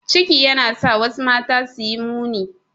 Ciki yana sa wasu mata suyi muni.